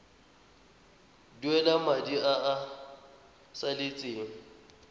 duela madi a a salatseng